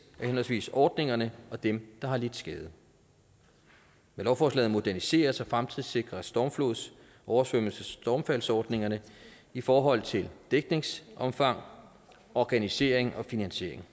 af henholdsvis ordningerne og dem der har lidt skade med lovforslaget moderniseres og fremtidssikres stormflods oversvømmelses og stormfaldsordningerne i forhold til dækningsomfang organisering og finansiering